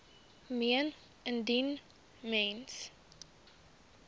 meen indien mens